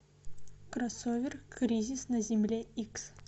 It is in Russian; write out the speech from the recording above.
кроссовер кризис на земле икс